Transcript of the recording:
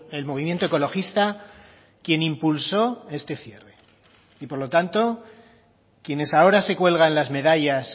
el movimiento ecologista quien impulsó este cierre y por lo tanto quienes ahora se cuelgan las medallas